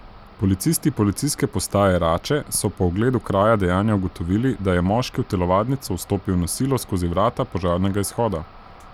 Policisti Policijske postaje Rače so po ogledu kraja dejanja ugotovili, da je moški v telovadnico vstopil na silo skozi vrata požarnega izhoda.